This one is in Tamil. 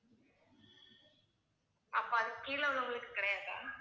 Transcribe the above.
அப்போ அதுக்கு கீழே உள்ளவங்களுக்கு கிடையாதா